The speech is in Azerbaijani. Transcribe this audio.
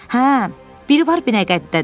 Hə, biri var Binəqədidədir.